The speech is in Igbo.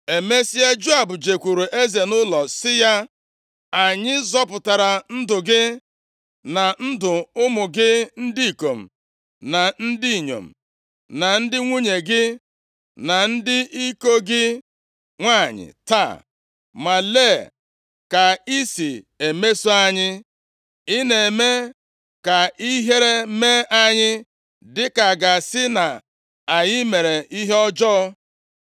Emesịa, Joab jekwuuru eze nʼụlọ sị ya, “Anyị zọpụtara ndụ gị, na ndụ ụmụ gị ndị ikom na ndị inyom, na ndị nwunye gị, na ndị iko gị nwanyị taa, ma lee ka ị si emeso anyị. Ị na-eme ka ihere mee anyị, dịka a ga-asị na anyị mere ihe ọjọọ.